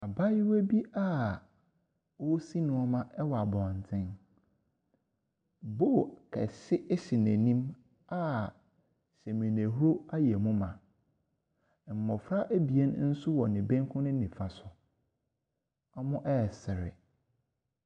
Abaayewa bi a ɔresi nneɛma ɛwɔ abɔnten, bowl kɛse ɛsi n’anim a saminahur ayɛ mu ma. Mmɔfra abien nso wɔ ne bankum ne ne nifa so, wɔresere.